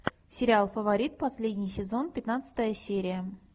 сериал фаворит последний сезон пятнадцатая серия